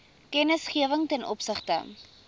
kennisgewing ten opsigte